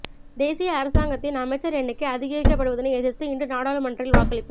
தேசிய அரசாங்கத்தின் அமைச்சர் எண்ணிக்கை அதிகரிக்கப்படுவதனை எதிர்த்து இன்று நாடாளுமன்றில் வாக்களிப்பு